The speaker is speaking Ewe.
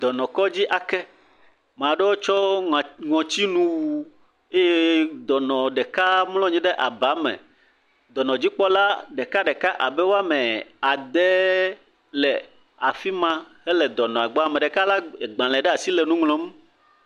Dɔnɔkedzi ake, ame aɖewo tsɔ ŋutinu wu eye dɔnɔ ɖeka mlɔ anyi ɖe aba me. Dɔnɔdzikpɔla ɖekaɖeka abe woame ade le afi ma hele dɔnɔ gbɔ ame ɖeka lé agbalẽ ɖe asi le nu ŋlɔm.